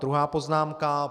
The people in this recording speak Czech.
Druhá poznámka.